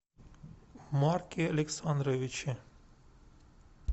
марке александровиче